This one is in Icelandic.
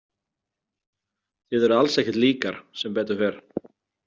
Þið eruð alls ekkert líkar, sem betur fer.